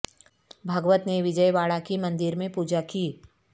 بھاگوت نے وجئے واڑہ کی مندر میں پوجا کی